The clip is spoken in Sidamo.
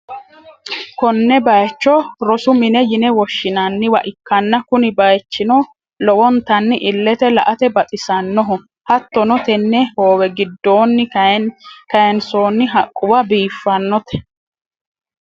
konne bayicho rosu mine yine woshshi'nanniwa ikkanna, kuni bayichino lowontanni illete la'ate baxisannoho, hattono tenne hoowe giddoonni kayiinsoonni haqqubba biiffannote.